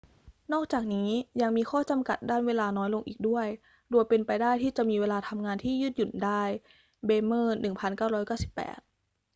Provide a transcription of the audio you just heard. นอกจากนี้ ยังมีข้อจำกัด ด้านเวลาน้อยลงอีกด้วย โดยเป็นไปได้ที่จะมีเวลาทำงานที่ยืดหยุ่นได้ เบรเมอร์ 1998